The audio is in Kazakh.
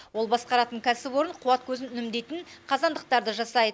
ол басқаратын кәсіпорын қуат көзін үнемдейтін қазандықтарды жасайды